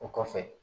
O kɔfɛ